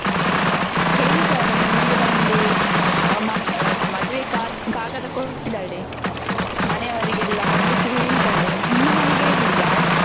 ಹೇಳಿದ್ದಾಳೆ ಮನೆಗೆ ಬಂದು ಇದ್ ಮದ್ವೆ ಕಾಗ್ ಕಾಗದ ಕೊಟ್ಟಿದ್ದಾಳೆ. ಮನೆಯವರಿಗೆಲ್ಲಾ ಬರ್ಲಿಕ್ಕೆ ಹೇಳಿದ್ದಾಳೆ. ನಿಮ್ಮ ಮನೆಗೆ ಹೇಳಿಲ್ವಾ?